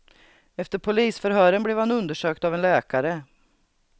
Efter polisförhören blev han undersökt av en läkare.